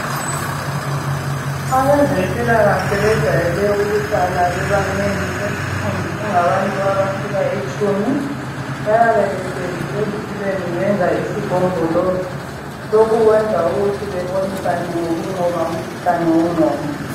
Abezempilakahle bejwayele ukuhlala bebanengi beliqumbi kungabantu abafika itshumi, bayabe behlezi ezitulweni benza isigombolozi lokhu kwenza ukuthi bebonisane ngokunqoba umkhuhlane wenqondo.